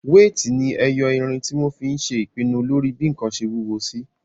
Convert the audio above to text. Wéètì ni ẹyọ irin tí wọ́n fí n ṣe ìpinnu lórí bí ǹkan ṣe wúwo sí